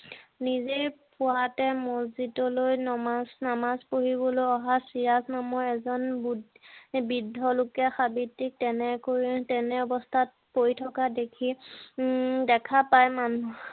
নিজে পুৱাতে মছজিদ লৈ নমাজ~নামাজ পঢ়িবলৈ অহা চিৰাজ নামৰ এজন বৃদ্ধ লোকে সাৱিত্ৰীক তেনে অৱস্থাত পৰি থকা দেখি উম দেখা পাই মানুহ